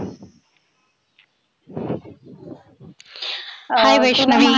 hi Vaishnavi.